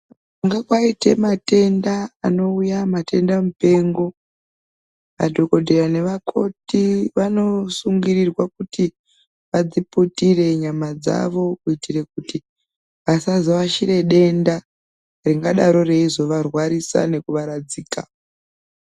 Kana kwaite matenda anouya matenda mupengo madhokodheya nevakoti vanosungirirwe kuti adziputire nyama dzavo kuitire kuti asazo ashire denda ringadaro reizovarwarisa nekuvaradzika.